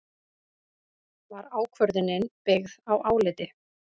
Var ákvörðunin byggð á áliti